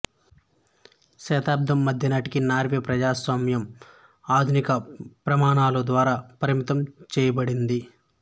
శతాబ్దం మధ్యనాటికి నార్వే ప్రజాస్వామ్యం ఆధునిక ప్రమాణాల ద్వారా పరిమితం చేయబడింది